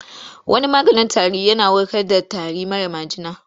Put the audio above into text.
Wani maganin tarin yana warkar da tari mara majina.